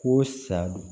Ko sa don